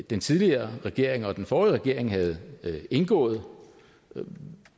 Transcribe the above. den tidligere regering og den forrige regering havde indgået og